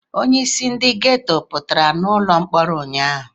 Onyeisi ndị geto ọ pụtara n'ụlọ mkpọrọ ụnyaahụ?